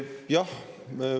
Jah.